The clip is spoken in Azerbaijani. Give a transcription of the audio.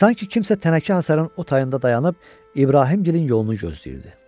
Sanki kimsə tənəkə hasarın o tayında dayanıb İbrahimgilin yolunu gözləyirdi.